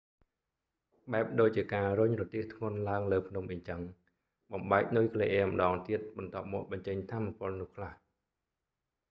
បែបដូចជាការរុញរទេះធ្ងន់ឡើងលើភ្នំអីចឹង បំបែកនុយក្លេអ៊ែរម្តងទៀត បន្ទាប់មកបញ្ចេញថាមពលនោះខ្លះ